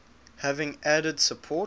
having added support